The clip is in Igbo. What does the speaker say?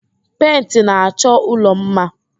Pentị na-achọ ụlọ mma